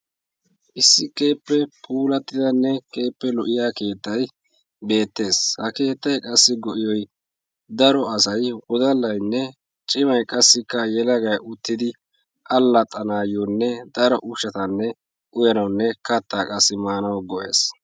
Issi keehippe puulatidanne keehippe lo''iya keettay beettes. Ha keettay qassi go''iyoy daro asay wodallaynne cimay qassikka yelagay uttidi alaxxanayyonne daro ushshata uyyanawunne katta qassikka maanuw go''ees.